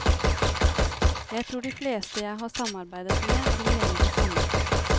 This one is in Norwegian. Jeg tror de fleste jeg har samarbeidet med vil mene det samme.